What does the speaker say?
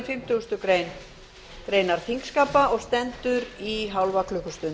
fimmtugustu grein þingskapa og stendur í hálfa klukkustund